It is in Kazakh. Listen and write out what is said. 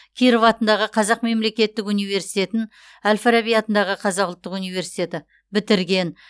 киров атындағы қазақ мемлекеттік университетін әл фараби атындағы қазақ ұлттық университеті бітірген